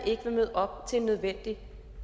ikke vil møde op til en nødvendig